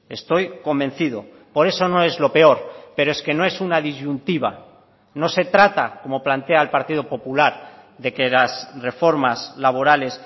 estoy convencido por eso no es lo peor pero es que no es una disyuntiva no se trata como plantea el partido popular de que las reformas laborales